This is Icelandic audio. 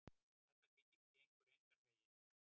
Þetta gengur engan veginn.